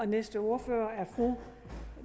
næste ordfører er fru